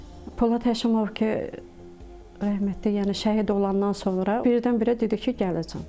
Polad Həşimov ki, rəhmətli, yəni şəhid olandan sonra birdən-birə dedi ki, gələcəm.